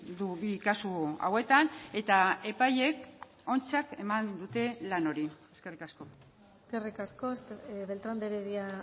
du bi kasu hauetan eta epaileek ontzat eman dute lan hori eskerrik asko eskerrik asko beltrán de heredia